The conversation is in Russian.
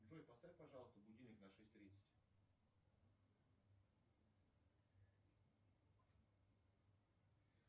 джой поставь пожалуйста будильник на шесть тридцать